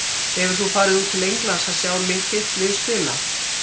Hefur þú farið út til Englands að sjá þitt lið spila?